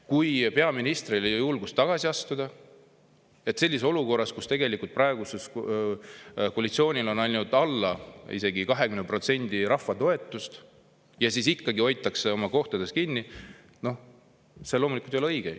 Kui peaministril ei ole julgust tagasi astuda sellises olukorras, kus tegelikult praegusel koalitsioonil on ainult alla 20% rahva toetus, ja ikkagi hoitakse oma kohast kinni, no siis see loomulikult ei ole õige.